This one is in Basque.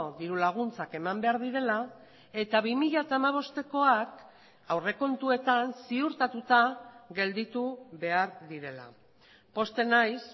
diru laguntzak eman behar direla eta bi mila hamabostekoak aurrekontuetan ziurtatuta gelditu behar direla pozten naiz